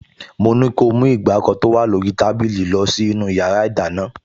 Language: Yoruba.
Mo ní kí ó mú ìgbàkọ tó wà lórí tábìlì lọ sínú yàrá ìdáná